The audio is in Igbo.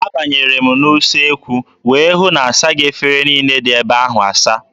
Abanyere m n'usekwu wee hụ na asaghị efere niile dị ebe ahụ asa.